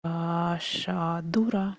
маша дура